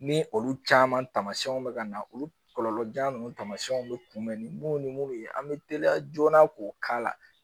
Ni olu caman taamasiyɛnw bɛ ka na olu kɔlɔlɔjan ninnu tamasiɛnw bɛ kunbɛn ni mun ni mun ye an bɛ teliya joona k'o k'a la